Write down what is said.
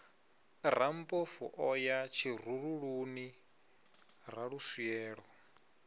rammpofu o ya tshirululuni raluswielo